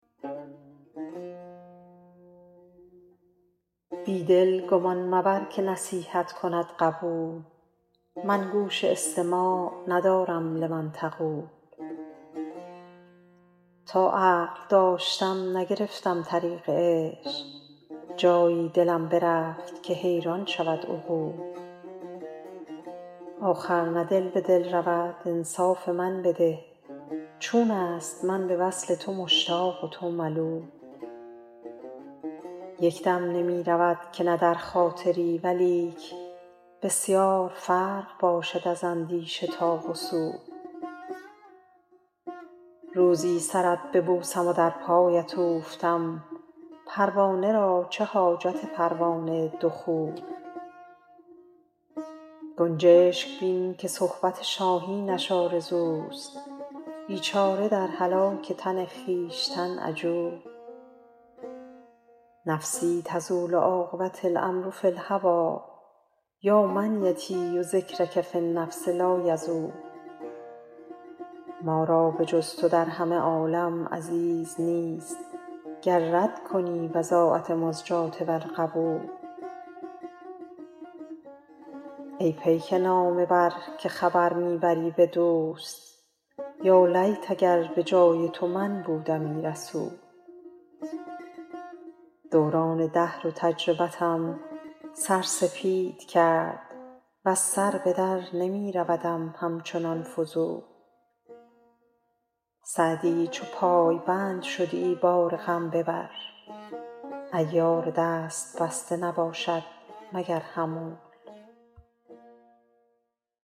بی دل گمان مبر که نصیحت کند قبول من گوش استماع ندارم لمن یقول تا عقل داشتم نگرفتم طریق عشق جایی دلم برفت که حیران شود عقول آخر نه دل به دل رود انصاف من بده چون است من به وصل تو مشتاق و تو ملول یک دم نمی رود که نه در خاطری ولیک بسیار فرق باشد از اندیشه تا وصول روزی سرت ببوسم و در پایت اوفتم پروانه را چه حاجت پروانه دخول گنجشک بین که صحبت شاهینش آرزوست بیچاره در هلاک تن خویشتن عجول نفسی تزول عاقبة الأمر فی الهوی یا منیتی و ذکرک فی النفس لایزول ما را به جز تو در همه عالم عزیز نیست گر رد کنی بضاعت مزجاة ور قبول ای پیک نامه بر که خبر می بری به دوست یالیت اگر به جای تو من بودمی رسول دوران دهر و تجربتم سر سپید کرد وز سر به در نمی رودم همچنان فضول سعدی چو پایبند شدی بار غم ببر عیار دست بسته نباشد مگر حمول